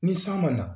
Ni san ma na